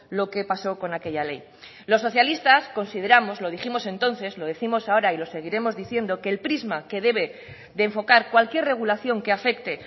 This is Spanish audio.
lo que paso con aquella ley los socialistas consideramos lo dijimos entonces lo décimos ahora y lo seguiremos diciendo que el prisma que debe de enfocar cualquier regulación que afecte